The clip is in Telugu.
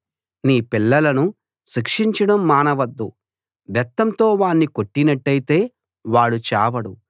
నీ పిల్లలను శిక్షించడం మానవద్దు బెత్తంతో వాణ్ణి కొట్టినట్టయితే వాడు చావడు